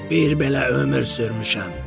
Bir belə ömür sürmüşəm.